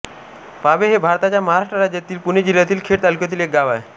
पाभे हे भारताच्या महाराष्ट्र राज्यातील पुणे जिल्ह्यातील खेड तालुक्यातील एक गाव आहे